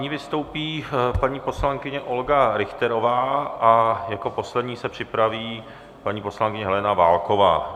Nyní vystoupí paní poslankyně Olga Richterová a jako poslední se připraví paní poslankyně Helena Válková.